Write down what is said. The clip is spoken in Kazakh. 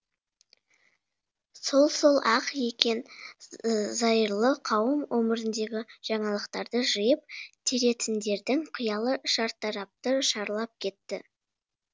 сол сол ақ екен зайырлы қауым өміріндегі жаңалықтарды жиып теретіндердің қиялы шартарапты шарлап кетті